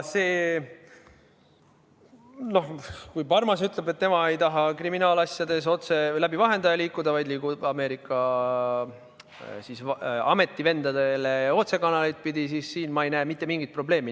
Noh, kui Parmas ütleb, et tema ei taha kriminaalasjades läbi vahendaja liikuda, vaid liigub Ameerika ametivendadeni otsekanaleid pidi, siis siin ma ei näe mitte mingit probleemi.